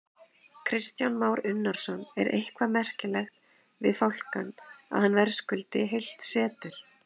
Kristján Már Unnarsson: En er eitthvað merkilegt við fálkann, að hann verðskuldi heilt setur?